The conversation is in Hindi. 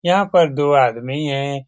यहाँ पर दो आदमी हैं।